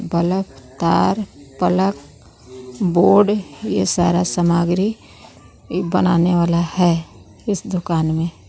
बलक तार पलक बोर्ड यह सारा सामग्री बनाने वाला है इस दुकान में.